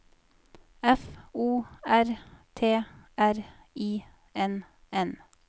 F O R T R I N N